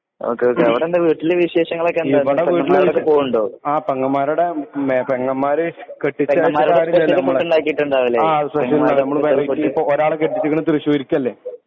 Okay okay അവിടെ വീട്ടില് വിശേഷങ്ങളൊക്കെ എന്താ പെങ്ങമ്മാരുടെ അടുക്കെ പോകലുണ്ടോ? ഒരാളെ കെട്ടിച്ചേക്കണേ തൃശൂർക്ക് അല്ലെ .